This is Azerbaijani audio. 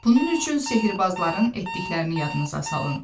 Bunun üçün sehirbazların etdiklərini yadınıza salın.